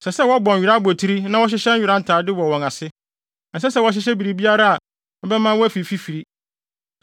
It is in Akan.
Ɛsɛ sɛ wɔbɔ nwera abotiri na wɔhyehyɛ nwera ntade wɔ wɔn ase. Ɛnsɛ sɛ wɔhyehyɛ biribiara a ɛbɛma wɔafi fifiri.